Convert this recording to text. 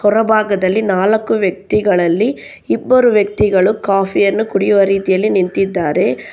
ಹೊರಭಾಗದಲ್ಲಿ ನಾಲ್ಕು ವ್ಯಕ್ತಿಗಳಲ್ಲಿ ಇಬ್ಬರು ವ್ಯಕ್ತಿಗಳು ಕಾಫಿ ಯನ್ನು ಕುಡಿಯುವ ರೀತಿಯಲ್ಲಿ ನಿಂತಿದ್ದಾರೆ.